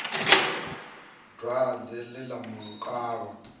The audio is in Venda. dwadze ḽe ḽa mu kavha